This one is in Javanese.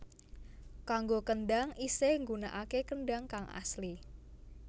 Kanggo kendang isih nggunakake kendang kang asli